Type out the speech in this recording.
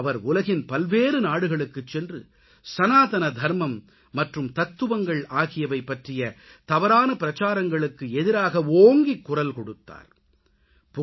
அவர் உலகின் பல்வேறு நாடுகளுக்குச் சென்று சனாதன தர்மம் மற்றும் தத்துவங்கள் ஆகியவை பற்றிய தவறான பிரச்சாரங்களுக்கு எதிராக ஓங்கிக் குரல் கொடுத்தார்